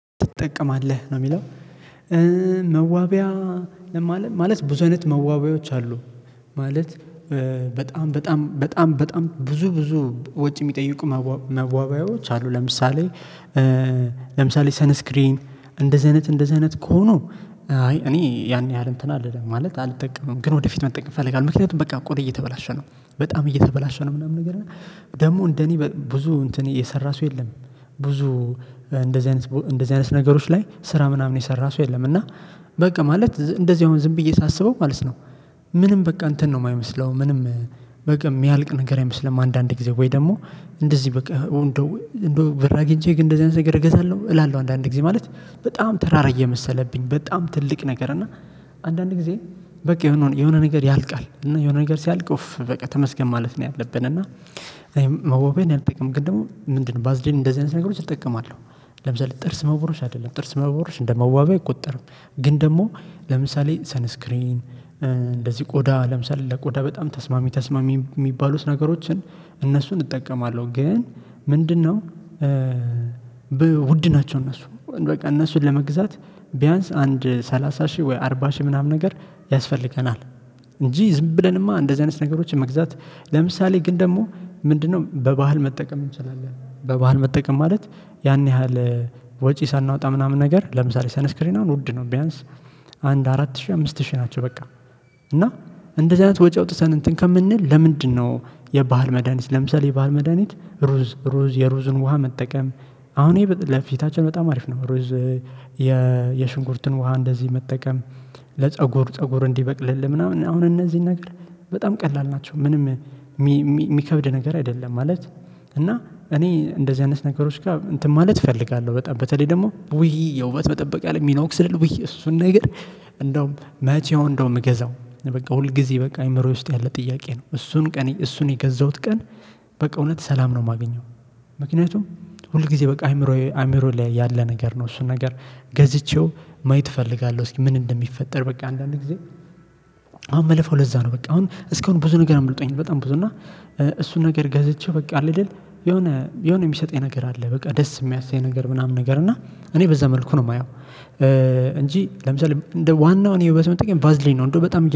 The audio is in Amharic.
ትጠቀማለህ ነው የሚለው መዋቢያ ለማለት ማለት ብዙ አይነት መዋበያዎች አሉ። ማለት በጣም በጣም በጣም ብዙ ብዙ ወጪ የሚጠይቁ መዋቢያዎች አሉ። ለምሳሌ ለምሳሌ ሰነስክሪን እንደዚህ አይነት እንደዚህ አይነት ከሆኑ አይ እኔ ያን ያህል እንትን አልልም ማለት አልጠቀምም። ግን ወደፊት መጠቀም እፈልጋለው ምክንያቱም በቃ ቆዳዬ እየተበላሸ ነው በጣም እየተበላሸ ነው። ምናምን ነገር እና ደግሞ እንደኔ ብዙ እንትን የሰራ ሰው የለም። ብዙ እንደዚህ አይነት እንደዚህ አይነት ነገሮች ላይ ስራ ምናምን የሰራ ሰው የለም። እና በቃ ማለት እንደዚህ አሁን ዝም ብዬ ሳስበው ማለት ነው። ምንም በቃ እንትን ነው የማይመስለው ምንም በቃ የሚያልቅ ነገር አይመስልም። አንዳንድ ጊዜ ወይ ደግሞ እንደዚህ በቃ እንደው ብር አግኝቼ ግን እንደዚህ አይነት ነገር እገዛለሁ እላለሁ። አንዳንድ ጊዜ ማለት በጣም ተራራ እየመሰለብኝ በጣም ትልቅ ነገር እና አንዳንድ ጊዜ በቃ የሆነ የሆነ ነገር ያልቃል። እና የሆነ ነገር ሲያልቅ ኡፍ በቃ ተመስገን ማለት ነው። ያለብን እና እኔ መወቢያን አልጠቅም ግን ደግሞ ምንድነው ባዝሊን እንደዚህ አይነት ነገሮች እጠቀማለሁ። ለምሳሌ ጥርስ መቦረሽ አይደለም ጥርስ መቦረሽ እንደመዋቢያ አይቆጠርም። ግን ደግሞ ለምሳሌ ሰንስክሪን እንደዚህ ቆዳ ለምሳሌ ለቆዳ በጣም ተስማሚ ተስማሚ የሚባሉት ነገሮችን እነሱን እጠቀማለሁ። ግን ምንድነው ውድ ናቸው እነሱ በቃ እነሱን ለመግዛት ቢያንስ አንድ ሰላሳ ሺህ ወይ አርባ ሺህ ምናምን ነገር ያስፈልገናል። እንጂ ዝም ብለንማ እንደዚህ አይነት ነገሮችን መግዛት ለምሳሌ ግን ደግሞ ምንድነው በባህል መጠቀም እንችላለን። በባህል መጠቀም ማለት ያን ያህል ወጪ ሳናወጣ ምናምን ነገር ለምሳሌ ሳንስክሪን አሁን ውድ ነው። ቢያንስ አንድ አራት ሺህ አምስት ሺህ ናቸው በቃ። እና እንደዚህ አይነት ወጪ አውጥተን እንትን ከምንል ለምንድን ነው? የባህል መድሃኒት ለምሳሌ የባህል መድሃኒት ሩዝ ሩዝ የሩዝን ውሃ መጠቀም አሁን ይሄ ለፊታችን በጣም አሪፍ ነው። ሩዝ የሽንኩርትን ውሃ እንደዚህ መጠቀም ለፀጉር ፀጉር እንዲበቅልልህ ምናምን አሁን እነዚህን ነገር በጣም ቀላል ናቸው። ምንም የሚከብድ ነገር አይደለም ማለት። እና እኔ እንደዚህ አይነት ነገሮች ጋር እንትን ማለት እፈልጋለሁ በጣም በተለይ ደግሞ ውይ የውበት መጠበቂያ ላይ ሚኖክስድል ውይ እሱን ነገር። እንደውም መቼ ይሁን እንደው ምገዛው በቃ ሁል ጊዜ በቃ አእምሮዬ ውስጥ ያለ ጥያቄ ነው። እሱን ቀን እሱን የገዛሁት ቀን በቃ እውነት ሰላም ነው የማገኘው። ምክንያቱም ሁል ጊዜ በቃ አእምሮዬ አእምሮ ላይ ያለ ነገር ነው። እሱን ነገር ገዝቼው ማየት እፈልጋለሁ። እስኪ ምን እንደሚፈጠር? በቃ አንዳንድ ጊዜ አሁን ምለፋው ለዛ ነው። በቃ አሁን እስካሁን ብዙ ነገር አምልጦኝ በጣም ብዙ እና እሱን ነገር ገዝቼ በቃ አለ አይደል? የሆነ የሆነ የሚሰጠኝ ነገር አለ በቃ ደስ የሚያስኝ ነገር ምናምን ነገር እና እኔ በዛ መልኩ ነው የማየው። እንጂ ለምሳሌ እንደ ዋናው እኔ የውበት ቫዝሊን ነው እንደው በጣም